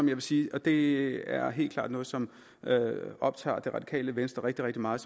vil sige og det er helt klart noget som optager det radikale venstre rigtig rigtig meget